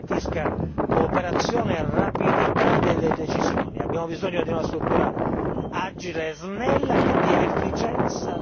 Abbiamo bisogno di una procura che contrasti al meglio le frodi comunitarie, che garantisca cooperazione e rapidità delle decisioni.